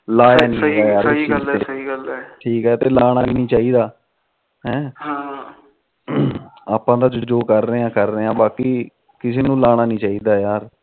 ਲਾਇਆ ਨੀ ਸਹੀ ਗੱਲ ਏ ਲਾਣਾ ਨੀ ਚਾਹੀਦਾ ਹੈ ਹਮ ਆਪਾ ਤਾ ਜੋ ਕਰ ਰਹੇ ਕਰ ਰਹੇ ਆ ਬਾਕੀ ਕਿਸੇ ਨੂੰ ਲਾਣਾ ਨੀ ਚਾਹੀਦਾ ਯਾਰ